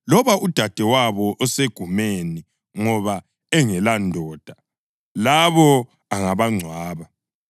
loba udadewabo osegumeni ngoba engelandoda, labo angabangcwaba.